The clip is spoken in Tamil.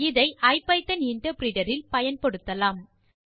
இதை ஐபிதான் இன்டர்பிரிட்டர் இல் பயன்படுத்தலாம்